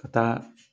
Ka taa